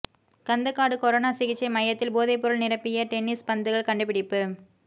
Kandakadu corona சிகிச்சை மையத்தில் போதைப்பொருள் நிரப்பிய டென்னிஸ் பந்துகள் கண்டுபிடிப்பு